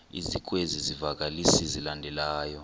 ezikwezi zivakalisi zilandelayo